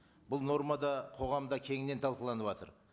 бұл норма да қоғамда кеңінен талқыланыватыр